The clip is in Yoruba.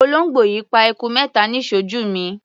Olóńgbò yìí pa eku mẹ́ta níṣojú mi.